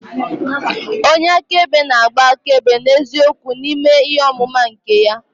Onye akaebe na-agba akaebe n'eziokwu n'ime ihe ọmụma nke ya.